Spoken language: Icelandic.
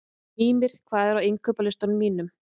Mímir, hvað er á innkaupalistanum mínum?